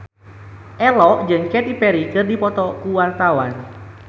Ello jeung Katy Perry keur dipoto ku wartawan